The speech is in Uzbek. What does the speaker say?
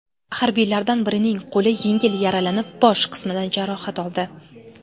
Harbiylardan birining qo‘li yengil yaralanib, bosh qismidan jarohat oldi.